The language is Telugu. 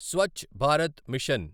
స్వచ్చ్ భారత్ మిషన్